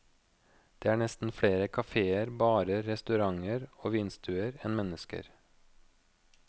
Det er nesten flere kaféer, barer, restauranter og vinstuer enn mennesker.